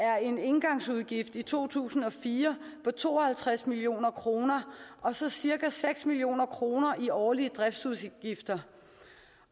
er en engangsudgift i to tusind og fire på to og halvtreds million kroner og så cirka seks million kroner i årlige driftsudgifter